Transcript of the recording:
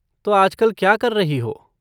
तो आजकल क्या कर रही हो?